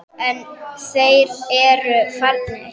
En þeir eru farnir.